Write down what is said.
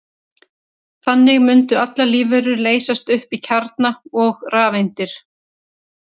Þannig mundu allar lífverur leysast upp í kjarna og rafeindir.